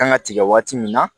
Kan ka tigɛ waati min na